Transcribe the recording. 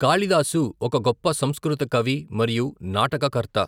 కాళిదాసు ఒక గొప్ప సంస్కృత కవి మరియు నాటక కర్త.